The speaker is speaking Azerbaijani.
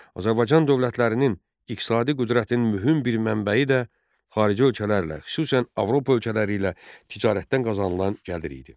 Azərbaycan dövlətlərinin iqtisadi qüdrətinin mühüm bir mənbəyi də xarici ölkələrlə, xüsusən Avropa ölkələri ilə ticarətdən qazanılan gəlir idi.